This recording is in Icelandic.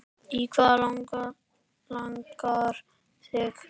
Í hvað langar þig?